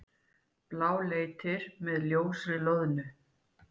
Bláleitir með ljósri loðnu.